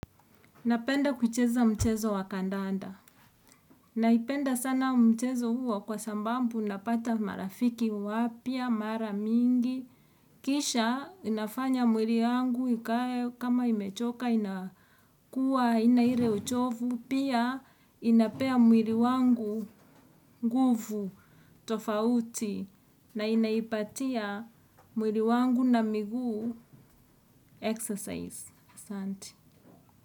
Napenda kuicheza mchezo wa kandanda. Naipenda sana mchezo huo, kwa sambambu napata marafiki wapya, mara mingi. Kisha, inafanya mwiri yangu, ikae, kama imechoka inakuwa haina ire uchovu. Pia, inapea mwiri wangu nguvu, tofauti. Na inaipatia, mwiri wangu na miguu exercise.